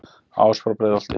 ás frá breiðholti